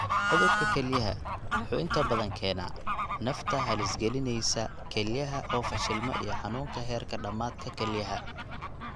Cudurka kelyaha (kelyaha) wuxuu inta badan keenaa nafta halis gelinaysa kelyaha oo fashilma iyo xanuunka heerka dhamaadka kelyaha (ESRD).